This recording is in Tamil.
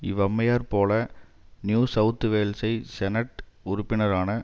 இவ்வம்மையார் போல நியூ செளத் வேலைஸ் செனட் உறுப்பினரான